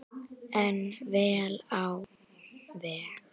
En vel á veg.